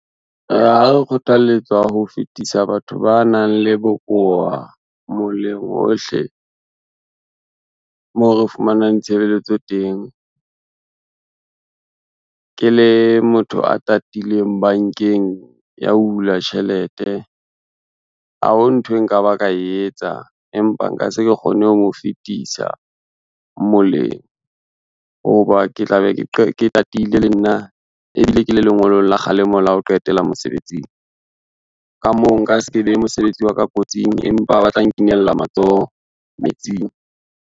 Kgothalletsa ho fetisa batho ba nang le bokowa moleng hohle, moo re fumanang tshebeletso teng. Ke le motho a tatileng bankeng yao hula tjhelete, ha ho nthwe nka ba ka e etsa empa nka se ke kgone ho mo fetisa moleng, ho ba ke tla be ke tatile le nna ebile ke le lengolong la kgalemo la ho qetela mosebetsing. Ka moo nka se ke behe mosebetsi wa ka kotsing, empa ba tla nkinella matsoho metsing.